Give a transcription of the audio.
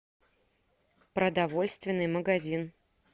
продовольственный магазин